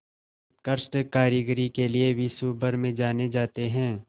उत्कृष्ट कारीगरी के लिये विश्वभर में जाने जाते हैं